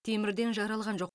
темірден жаралған жоқ